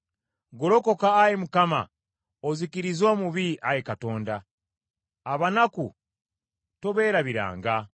Golokoka, Ayi Mukama , ozikirize omubi, Ayi Katonda; abanaku tobeerabiranga.